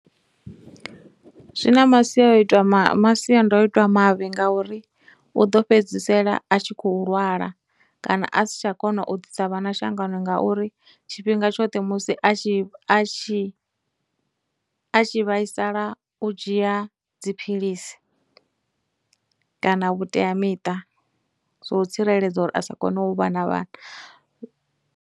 Zwi na masiaoitwa ma, masiandoitwa mavhi ngauri u ḓo fhedzisela a tshi khou lwala, kana a si tsha kona u ḓisa vhana shangoni ngauri tshifhinga tshoṱhe musi a tshi a tshi, a tshi vhaisala u dzhia dziphilisi kana vhuteamiṱa zwou tsireledza uri a sa kone u vha na vhana.